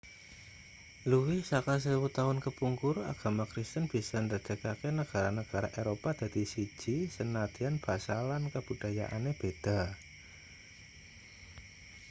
luwih saka sewu taun kepungkur agama kristen bisa ndadekake negara-negara eropa dadi siji sanadyan basa lan kabudayane beda i